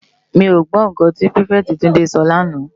Mi ó gbò n kán ti pirifèti Tunde sò lànâ